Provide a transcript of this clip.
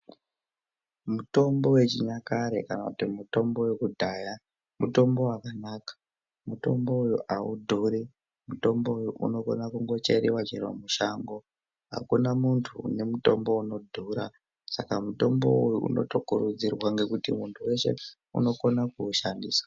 Mitombo wechinyakare kana kuti mitombo wekudhaya mitombo wakanaka mitomboyo awudhuri mitomboyo unogona kungocherewa chero mushango hakuna mundu une mutombo unodhura saka mitomboyo unotokurudzirwa nekuti mundu weshe unokona kuushandisa.